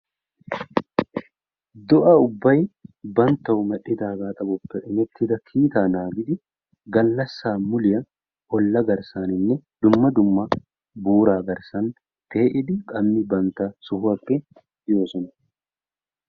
do'a ubbay banttaw medhdhidaaga saluwappe immettida kiita naagidi gallassa muliyaa olla garssaninne dumma dumma buura garssan pe'iddi bantta sohuwappe kihoosona.